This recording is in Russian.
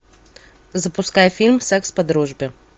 запускай фильм секс по дружбе